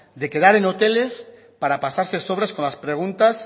de quedar en hoteles para pasarse sobres con las preguntas